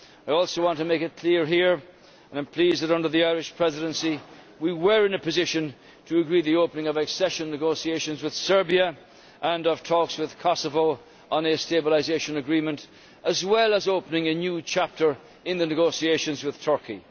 I also want to make it clear that I am pleased that under the Irish Presidency we were in a position to agree the opening of accession negotiations with Serbia and of talks with Kosovo on a stabilisation agreement as well as opening a new chapter in the negotiations with Turkey.